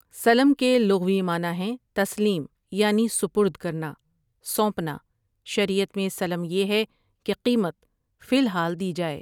سلم کے لغوی معنے ہیں تسلیم یعنی سپردکرنا، سونپنا شریعت میں سلم یہ ہے کہ قیمت فی الحال دی جائے۔